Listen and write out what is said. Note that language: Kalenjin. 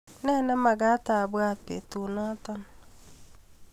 Ne neamakat abwaat betunda?